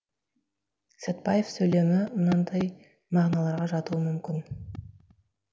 сәтбаев сөйлемі мынадай мағыналарға жатуға мүмкін